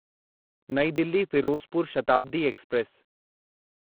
New Delhi Firozpur Shatabdi express